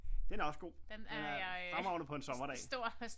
Den er også god den er fremragende på en sommerdag